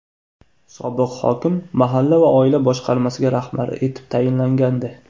Sobiq hokim mahalla va oila boshqarmasiga rahbar etib tayinlangandi.